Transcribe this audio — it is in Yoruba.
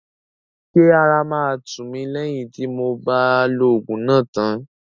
Ṣé ara máa tù mí lẹ́yìn tí mob á lo òògùn náà tán?